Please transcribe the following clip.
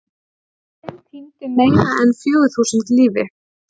Af þeim týndu meira en fjögur þúsund lífi.